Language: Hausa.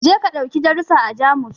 Je ka ɗauki darusa a Jamus